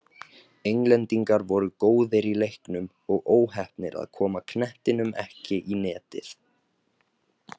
Englendingar voru góðir í leiknum og óheppnir að koma knettinum ekki í netið.